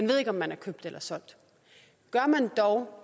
ved om man er købt eller solgt gør man dog